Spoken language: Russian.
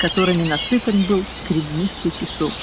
которыми насыпан был гребнистый песок